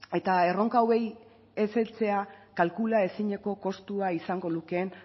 eta erronka hauei ez heltzea kalkulaezineko kostua izango lukeen